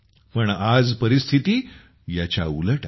पण आज परिस्थिती ह्याच्या उलट आहे